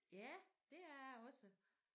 Ja det er jeg også